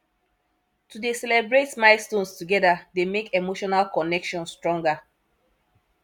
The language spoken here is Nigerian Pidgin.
to dey celebrate milestones together dey make emotional connection stronger